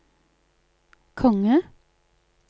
konge